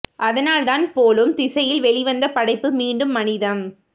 அதனால்தான் போலும் திசையில் வெளிவந்த படைப்பு மீண்டும் மனிதம்